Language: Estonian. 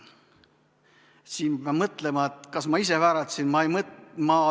Siin ma jäin mõtlema, et kas ma ise vääratasin.